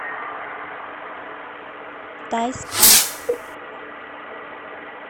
тайспа